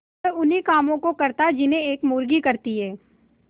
वह उन्ही कामों को करता जिन्हें एक मुर्गी करती है